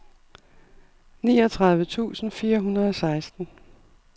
niogtredive tusind fire hundrede og seksten